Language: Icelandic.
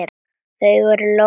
Það voru lóur.